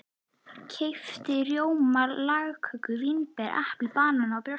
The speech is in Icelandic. Keypti rjóma, lagköku, vínber, epli, banana og brjóstsykur.